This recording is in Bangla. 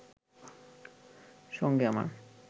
সঙ্গে আমার